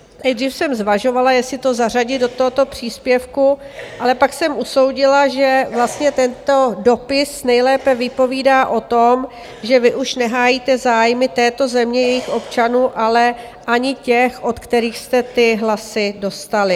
Nejdřív jsem zvažovala, jestli to zařadit do tohoto příspěvku, ale pak jsem usoudila, že vlastně tento dopis nejlépe vypovídá o tom, že vy už nehájíte zájmy této země, jejích občanů, ale ani těch, od kterých jste ty hlasy dostali.